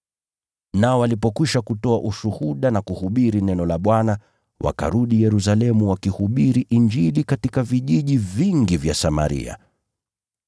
Nao walipokwisha kutoa ushuhuda na kuhubiri neno la Bwana, wakarudi Yerusalemu wakihubiri Injili katika vijiji vingi vya Samaria.